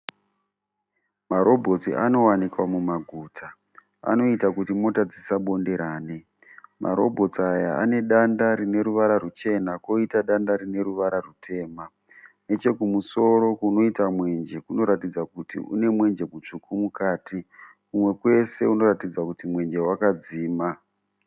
Marobhotsi anowanikwa mumaguta. Anoita kuti mota dzisabonderane. Marobhotsi aya anedanda rineruvara rwuchena koita danda rineruvara rwutema. Nechekumusoro kunoita mwenje kunoratidza kuti kune mwenje mutsvuku mukati. Kumwe kwese kunoratidza kuti mwenje wakadzima.